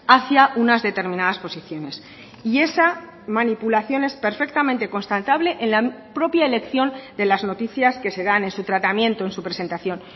hacia unas determinadas posiciones y esa manipulación es perfectamente constatable en la propia elección de las noticias que se dan en su tratamiento en su presentación